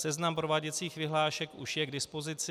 Seznam prováděcích vyhlášek už je k dispozici.